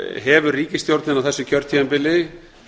hefur ríkisstjórnin á þessu kjörtímabili